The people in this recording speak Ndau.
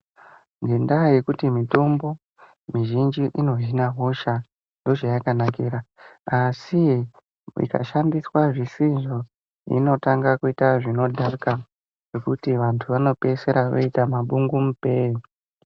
Ngendaa yekuti mitombo mizhinji inohina hosha ndochaya kanakira asi ikashandiswa zvisizvo inotanga kuita zvinodhaka zvokuti antu ano pedzisira oita mabungu mupee.